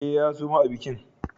E, ya suma a bikin.